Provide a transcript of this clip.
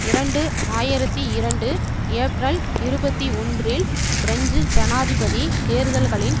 இரண்டு ஆயிரத்தி இரண்டு ஏப்ரல் இருபத்தி ஒன்றில் பிரெஞ்சு ஜனாதிபதி தேர்தல்களின்